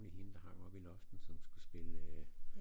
Hende der hang oppe i luften som skulle spille øh